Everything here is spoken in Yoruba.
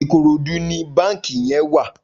Ikorodu ni bànkí yèn wà